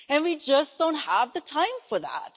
And we just don't have the time for that.